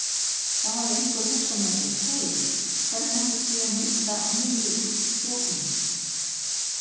Þá hafði einhver hugsað með sér: Hey hvernig ætli sé að mynda niðri úr stúkunni?